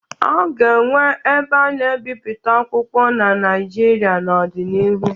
A ga-enwe ebe ana ebipụta akwụkwọ na naijịrịa n'odi n'ihu